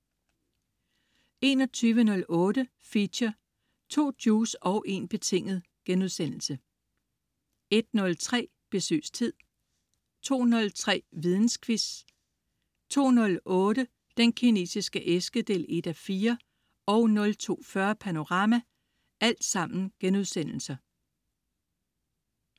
21.08 Feature: 2 Juice og en betinget* 01.03 Besøgstid* 02.03 Vidensquiz* 02.08 Den Kinesiske æske 1:4* 02.40 Panorama*